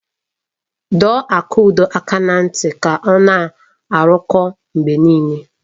Dọọ Akudo aka na ntị ka ọ na-arụkọ mgbe niile!